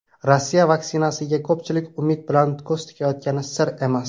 Rossiya vaksinasiga ko‘pchilik umid bilan ko‘z tikayotgani sir emas.